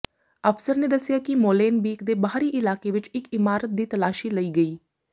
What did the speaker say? ਅਫਸਰ ਨੇ ਦੱਸਿਆ ਕਿ ਮੋਲੇਨਬੀਕ ਦੇ ਬਾਹਰੀ ਇਲਾਕੇ ਵਿਚ ਇਕ ਇਮਾਰਤ ਦੀ ਤਲਾਸ਼ੀ ਲਈ ਗਈ